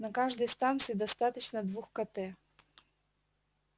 на каждой станции достаточно двух кт